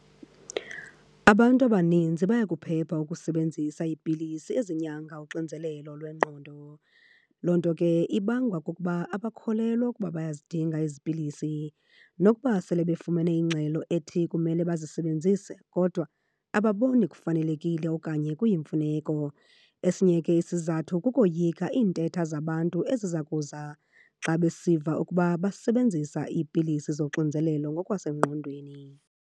Abantu abaninzi bayakuphepha ukusebenzisa iipilisi ezinyanga uxinzelelo lwengqondo. Loo nto ke ibangwa kukuba abakholelwa ukuba bayazidinga ezi pilisi. Nokuba sele befumene ingxelo ethi kumele bazisebenzise, kodwa ababoni kufanelekile okanye kuyimfuneko. Esinye ke isizathu kukoyika iintetha zabantu eziza kuza xa besiva ukuba basebenzisa iipilisi zoxinzelelo ngokwasengqondweni.